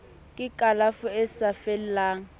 ke kalafo e sa fellang